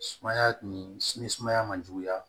Sumaya ni sini sumaya man juguya